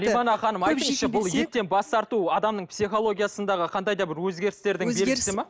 бұл еттен бас тарту адамның психологиясындағы қандай да бір өзгерістердің